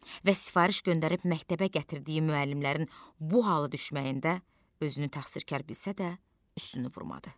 Və sifariş göndərib məktəbə gətirdiyi müəllimlərin bu hala düşməyində özünü təqsirkar bilsə də, üstünü vurmadı.